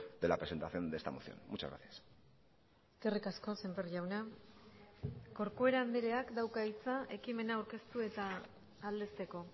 de la presentación de esta moción muchas gracias eskerrik asko sémper jauna corcuera andreak dauka hitza ekimena aurkeztu eta aldezteko